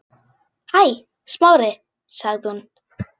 Hæ, Smári- sagði hún.